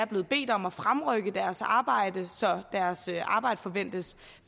blevet bedt om at fremrykke deres arbejde så deres arbejde forventes